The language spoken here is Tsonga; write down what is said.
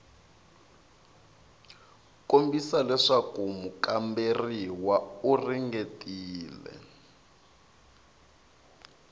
kombisa leswaku mukamberiwa u ringetile